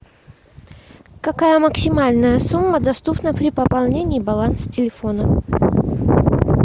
какая максимальная сумма доступна при пополнении баланса телефона